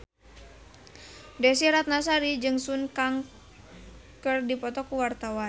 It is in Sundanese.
Desy Ratnasari jeung Sun Kang keur dipoto ku wartawan